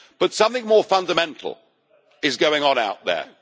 But something more fundamental is going on out there.